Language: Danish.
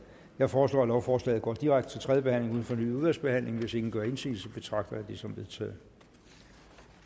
jeg foreslår at lovforslaget går direkte til tredje behandling uden fornyet udvalgsbehandling hvis ingen gør indsigelse betragter jeg det som vedtaget